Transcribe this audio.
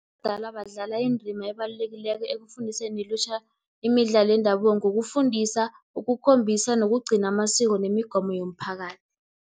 Abadala badlala indima ebalulekileko, ekufundiseni ilutjha imidlalo yendabuko, ngokufundisa, ukukhombisa nokugcina amasiko nemigomo yomphakathi.